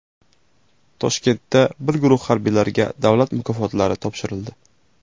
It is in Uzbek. Toshkentda bir guruh harbiylarga davlat mukofotlari topshirildi.